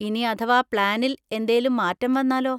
ഇനി അഥവാ പ്ലാനിൽ എന്തേലും മാറ്റം വന്നാലോ?